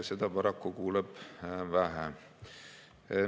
Seda paraku kuuleb vähe.